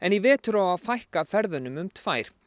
í vetur á að fækka ferðunum um tvær